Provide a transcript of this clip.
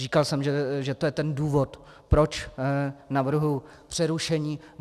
Říkal jsem, že je to ten důvod, proč navrhuji přerušení.